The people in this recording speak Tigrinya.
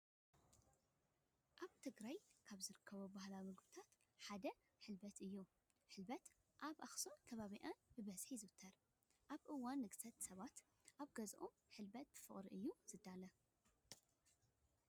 ኣብ ትግራይ ካብ ዝርከቡ ባህላዊ ምግብታት እቲ ሓደ ህልበት እዩ። ህልበት ኣብ ኣክሱምን ከባቢኣን ብበዝሒ ይዝውተር። ኣብ እዋን ንግሰት ሰባት ኣብ ገዝኣኦም ህልበት ብፍቅሪ እዮም ዘዳልዉ።